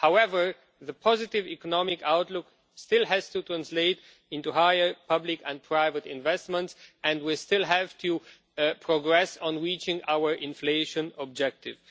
However, the positive economic outlook still has to translate into higher public and private investments and we still have to progress on reaching our inflation objective.